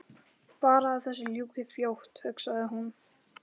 Bara að þessu ljúki fljótt hugsaði hún.